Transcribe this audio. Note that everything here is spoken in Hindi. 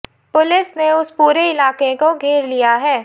पुलिस ने उस पूरे इलाके को घेर लिया है